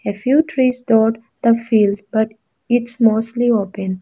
a few trees stored the field but its mostly open.